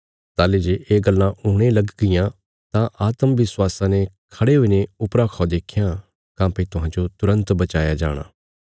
ताहली जे ये गल्लां हुणे लग गियां तां आत्म विश्वासा ने खड़े हुईने ऊपर खा देख्यां काँह्भई तुहांजो तुरन्त बचाया जाणा